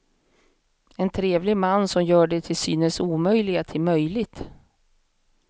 En trevlig man som gör det till synes omöjliga till möjligt.